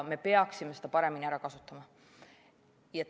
Me peaksime seda paremini ära kasutama.